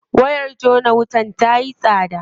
Wayar jona wutar tayi tsada.